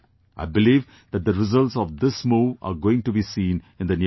I believe that the results of this move are going to be seen in the near future